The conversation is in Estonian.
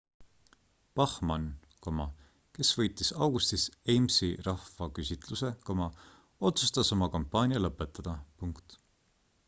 bachmann kes võitis augustis ames'i rahvaküsitluse otsustas oma kampaania lõpetada